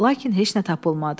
Lakin heç nə tapılmadı.